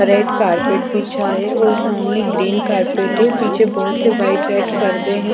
Red carpet बिछा है और सामने ग्रीन कारपेट है पीछे बहोत से व्हाइट रेड पर्दे हैं।